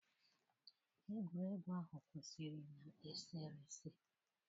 Egwuregwu ahụ kwụsịrị na eserese